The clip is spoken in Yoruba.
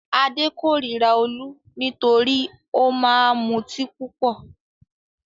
Adé kórira Olú nítorí ó máa mutí púpọ̀.